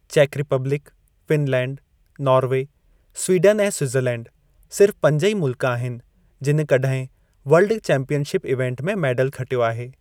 चेकु Republic, Finland, Norway, Sweden ऐं Switzerland सिर्फ़ पंज ई मुल्क आहिनि जिनि कॾहिं वर्ल्ड चैंपीयनशिप इवेन्ट में मेडल खटियो आहे।